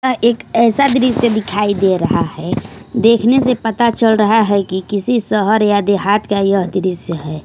यहां एक ऐसा दृश्य दिखाई दे रहा है देखने से पता चल रहा है कि किसी शहर या देहात का यह दृश्य है।